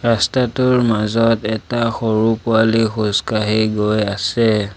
ৰাস্তাটোৰ মাজত এটা সৰু পোৱালী খোজ কাঢ়ি গৈ আছে।